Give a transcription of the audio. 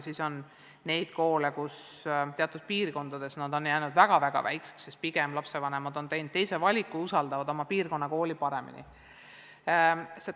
Samas on teatud piirkondades ka selliseid koole, mis on jäänud väga-väga väikeseks, sest lapsevanemad on teinud teise valiku ja usaldavad oma piirkonna kooli rohkem.